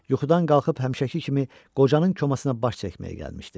Yuxudan qalxıb həmişəki kimi qocanın komasına baş çəkməyə gəlmişdi.